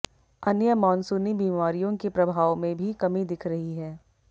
अन्य मानसूनी बीमारियों के प्रभाव में भी कमी दिख रही है